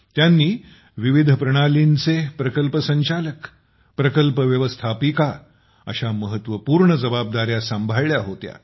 त्यांनी विविध प्रणालींचे प्रकल्प संचालक प्रकल्प व्यवस्थापिका अशा महत्वपूर्ण जबादार्या सांभाळल्या होत्या